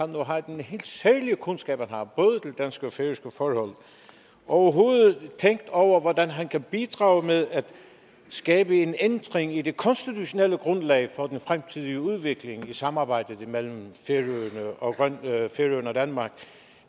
nu har den helt særlige kundskab han har både til danske og færøske forhold overhovedet tænkt over hvordan han kan bidrage med at skabe en ændring i det konstitutionelle grundlag for den fremtidige udvikling i samarbejdet imellem færøerne og danmark